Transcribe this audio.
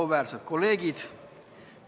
Auväärsed kolleegid!